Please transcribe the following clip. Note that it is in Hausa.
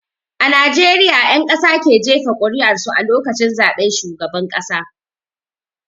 A Najeriya 'ƴan ƙasa ke jefa ƙur'ar su a lokacin zaben shugaban ƙasa.